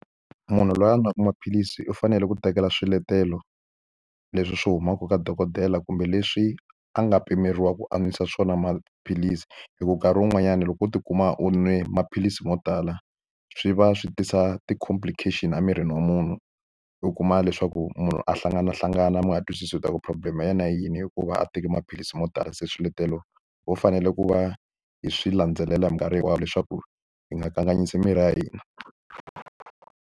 Munhu loyi a nwa maphilisi u fanele ku tekela swiletelo leswi swi humaka ka dokodela kumbe leswi a nga pimeriwa ku a nwisa swona maphilisi hi ku nkarhi wun'wanyana loko u tikuma u nwe maphilisi mo tala swi va swi tisa ti-complication emirini wa munhu u kuma leswaku munhu a hlanganahlangana mi nga twisisi u ta ku problem-e ya na yini hikuva a teki maphilisi mo tala se swiletelo vo fanele ku va hi swi landzelela hi mikarhi hinkwayo leswaku hi nga kanganyisi miri ya hina.